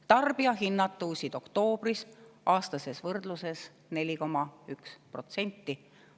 Tarbijahinnad tõusid oktoobris aastases võrdluses 4,1%.